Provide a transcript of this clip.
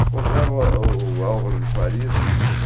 Encontrava o o o Álvaro de Faria.